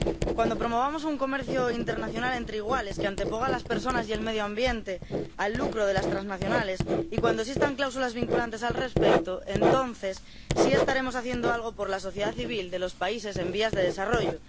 Cuando promovamos un comercio internacional entre iguales, que anteponga las personas y el medio ambiente al lucro de las transnacionales, y cuando existan cláusulas vinculantes al respecto, entonces sí estaremos haciendo algo por la sociedad civil de los países en vías de desarrollo.